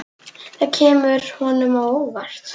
Það kemur honum á óvart.